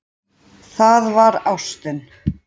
Það var ástin.